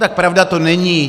Tak pravda to není.